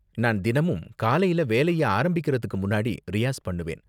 நான் தினமும் காலையில வேலையை ஆரம்பிக்குறதுக்கு முன்னாடி ரியாஸ் பண்ணுவேன்.